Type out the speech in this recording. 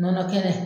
Nɔnɔ kɛnɛ